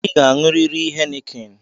ị ga-aṅurịrị heineken